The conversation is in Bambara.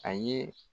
A ye